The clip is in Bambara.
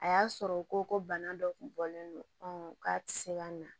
A y'a sɔrɔ u ko ko bana dɔ kun bɔlen don k'a ti se ka na